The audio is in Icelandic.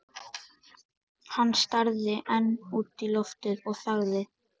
Hann starði enn út í loftið og þagði.